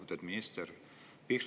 Lugupeetud minister!